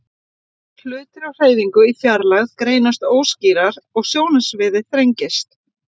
Hlutir á hreyfingu í fjarlægð greinast óskýrar og sjónsviðið þrengist.